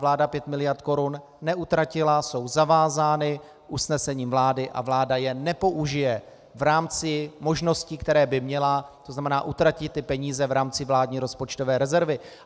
Vláda pět miliard korun neutratila, jsou zavázány usnesením vlády a vláda je nepoužije v rámci možností, které by měla, to znamená, utratit ty peníze v rámci vládní rozpočtové rezervy.